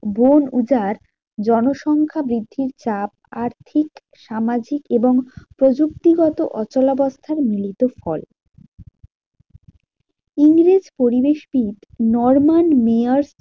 বনউজার জনসংখ্যা বৃদ্ধির চাপ, আর্থিক, সামাজিক এবং প্রযুক্তি গত অচলাবস্থার মিলিত ফল। ইংরেজ পরিবেশবিদ নরমান মেয়র